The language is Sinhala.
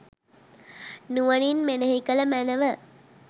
නුවණින් මෙනෙහි කළ මැනව